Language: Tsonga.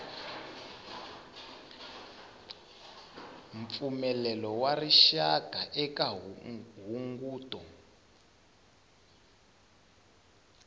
mpfumelelo wa rixaka eka hunguto